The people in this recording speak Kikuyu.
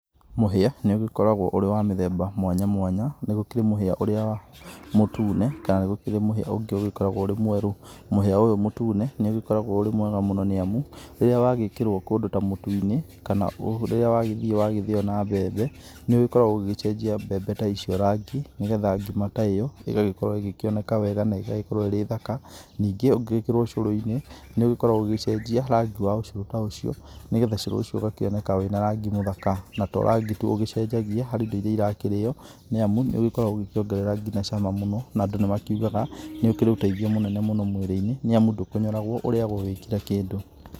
Mũhia nĩ ũgĩkoragwo ũrĩ wa mĩthemba mwanya mwanya nĩ gũkĩrĩ mũhia ũrĩa mutune kana nĩ gũkĩrĩ mũhia ũngĩ ũgĩkoragwo ũrĩ mwerũ, mũhia ũyũ mũtũne nĩ ũgĩkoragwo ũrĩ mwega mũno nĩamu rĩrĩa wagĩkĩrwo kũndũ ta mũtu-inĩ na ũrĩa wagĩthiĩ wagĩthio na mbembe nĩ ũgĩkoragwo ũgĩcenjia mbembe ta icio rangi nĩgetha ngima ta ĩyo ĩgagĩkorwo ĩkĩoneka wega na igagĩkorwo ĩrĩ thaka, ningĩ ũngĩgĩkĩrĩrwo cũrũ-inĩ nĩ ũgĩkoragwo ũgĩgĩcenjia rangi wa ũcũrũ ta ũcio nĩgetha cũrũ ũcio ũgakĩoneka wĩna rangi mũthaka na to rangi tu ũgĩcenjagia harĩ indo iria irakĩrio nĩamũ nĩ ũgĩkoragwo ũgĩkĩongerera nginya cama mũno na andũ nĩ makĩugaga nĩ ũkĩrĩ ũteithio mũno mwĩrĩ-inĩ nĩamu ndũkonyoragwo ũrĩagwo wĩ kĩra kĩndũ.